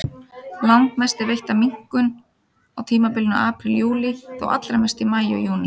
Langmest er veitt af minkum á tímabilinu apríl-júlí, þó allra mest í maí og júní.